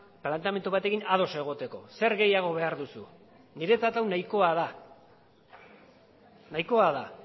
planteamendu bat egin ados egoteko zer gehiago behar duzu niretzat hau nahikoa da